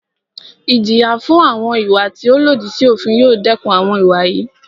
Ìjìyà fún àwọn ìwà tí o lòdì sí òfin yóò dẹkùn àwọn ìwà yìí.